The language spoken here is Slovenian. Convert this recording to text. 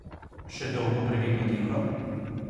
Še dolgo previdno tiho?